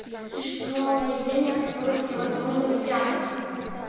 существовало явление от которых невозможно спрятаться